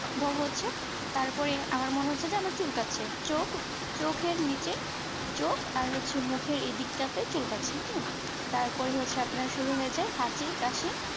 তার পরে আমার মনে হচ্ছে যে আমার চুলকাচ্ছে চকচকে নিচে চোখ আর হচ্ছে মুখের এদিকটা চুল কাচ্ছে হ্যাঁ তারপরে হচ্ছে আপনার শুরু হয়ে যায় হাঁচি কাশি